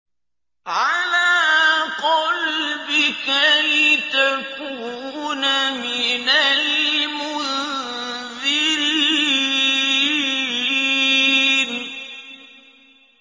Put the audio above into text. عَلَىٰ قَلْبِكَ لِتَكُونَ مِنَ الْمُنذِرِينَ